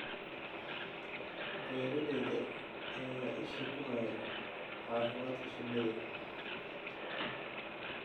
Beeralayda ayaa isha ku haya caafimaadka shinnida.